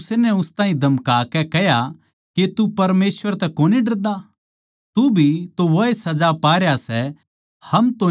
इसपै दुसरै नै उस ताहीं धमका के कह्या के तू परमेसवर तै भी कोनी डरदा तू भी तो वाए सजा पा रया सै